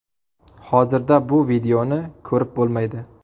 Hozirda bu videoni ko‘rib bo‘lmaydi.